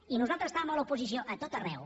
i nosaltres estàvem a l’oposició a tot arreu